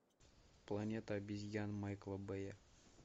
планета обезьян майкла бэя